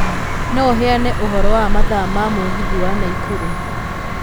No ũheane ũhoro wa mathaa ma mũgithi wa naikuru